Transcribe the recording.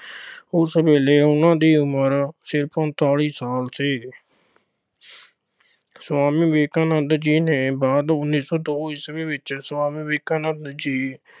ਉਸ ਵੇਲੇ ਉਹਨਾਂ ਦੀ ਉਮਰ ਸਿਰਫ ਉਨੱਤੀ ਸਾਲ ਸੀ। ਸੁਆਮੀ ਵਿਵੇਕਾਨੰਦ ਜੀ ਦੇ ਬਾਅਦ ਉੱਨੀ ਸੌ ਦੋ ਈਸਵੀ ਵਿੱਚ ਸੁਆਮੀ ਵਿਵੇਕਾਨੰਦ ਜੀ